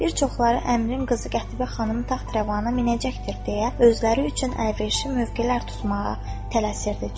Bir çoxları əmrin qızı Qətibə xanım taxt-rəvana minəcəkdir deyə özləri üçün əlverişli mövqelər tutmağa tələsirdi.